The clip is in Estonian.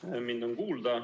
Loodan, et mind on kuulda.